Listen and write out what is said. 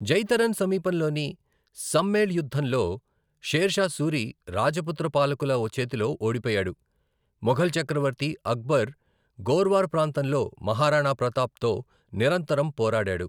జైతరన్ సమీపంలోని సమ్మేల్ యుద్ధంలో షేర్షా సూరి రాజపుత్ర పాలకుల చేతిలో ఓడిపోయాడు, మొఘల్ చక్రవర్తి అక్బర్ గోర్వార్ ప్రాంతంలో మహారాణా ప్రతాప్తో నిరంతరం పోరాడాడు.